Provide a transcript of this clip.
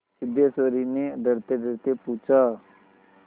सिद्धेश्वर ने डरतेडरते पूछा